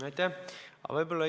Aitäh!